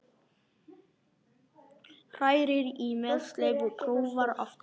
Hrærir í með sleif og prófar aftur.